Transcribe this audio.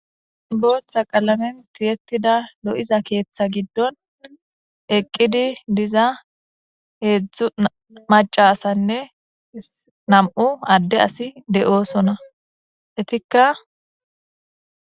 Bootha qalamen tiyetida lo'iza keetha gidon eqidi diza hezhu maca asanne nam'u Ade asi de'osona etika